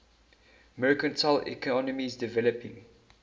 mercantile economies developing